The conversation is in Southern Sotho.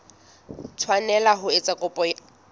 tshwanela ho etsa kopo ya